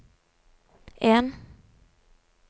en